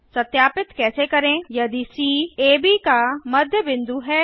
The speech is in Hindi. सत्यापित कैसे करें यदि सी एबी का मध्य बिंदु है